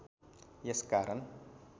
यस कारण